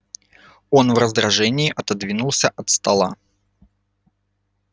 он в раздражении отодвинулся от стола